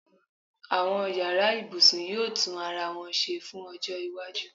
àwọn yara ibusun yíò tun arawọn se fún ojó iwájú